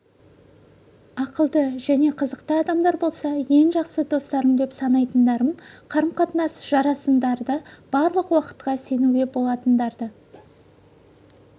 ақылды және қызықты адамдар болса ең жақсы достарым деп санайтындарым қарым-қатынасым жарасымдарды барлық уақытқа сенуге болатындарды